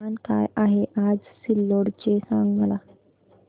तापमान काय आहे आज सिल्लोड चे मला सांगा